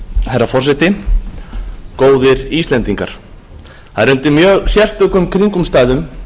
herra forseti góðir íslendingar það er undir mjög sérstökum kringumstæðum